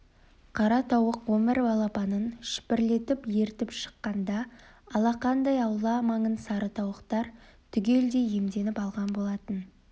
қара тауық он бір балапанын шүпірлетіп ертіп шыққанда алақандай аула маңын сары тауықтар түгелдей иемденіп алған болатын